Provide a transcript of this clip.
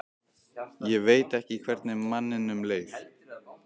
Ég veit ekki hvernig manninum leið.